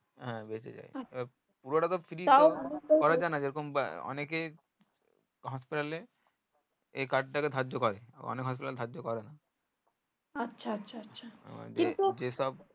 বেঁচে যাই পুরোটাতো free hospital এ এই card টাকে ধার্য করে আবার অনেক hospital ধার্য করেনা